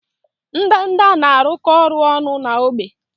Ndanda na-arụkọ ọrụ ọnụ na ógbè.